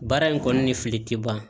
Baara in kɔni ni fili tɛ ban